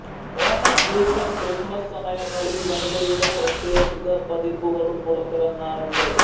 Onam Easter Christmas സമയങ്ങളിൽ വനിതയുടെ പ്രത്യേക പതിപ്പുകളും പുറത്തിറങ്ങാറുണ്ട്